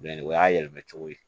o y'a yɛlɛmacogo ye